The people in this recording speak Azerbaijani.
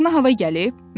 Başına hava gəlib?